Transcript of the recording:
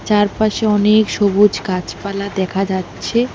চারপাশে অনেক সবুজ গাছপালা দেখা যাচ্ছে।